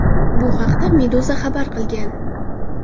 Bu haqda Meduza xabar qilgan .